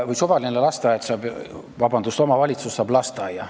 Või siis suvaline omavalitsus saab lasteaia.